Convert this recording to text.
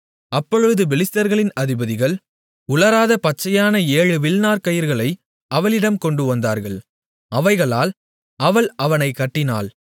அப்பொழுது பெலிஸ்தர்களின் அதிபதிகள் உலராத பச்சையான ஏழு வில்நார்க் கயிறுகளை அவளிடம் கொண்டுவந்தார்கள் அவைகளால் அவள் அவனைக் கட்டினாள்